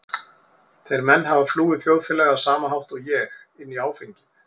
Þeir menn hafa flúið þjóðfélagið á sama hátt og ég- inn í áfengið.